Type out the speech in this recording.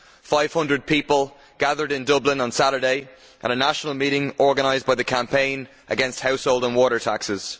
500 people gathered in Dublin on Saturday at a national meeting organised by the campaign against household and water taxes.